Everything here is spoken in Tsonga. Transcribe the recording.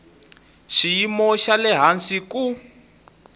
xiyimo xa le hansi ku